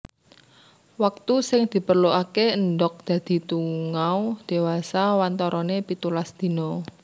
Waktu sing diperluke endhog dadi tungau dewasa wantarane pitulas dina